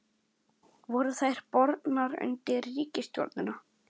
Voru þær bornar undir ríkisstjórnina?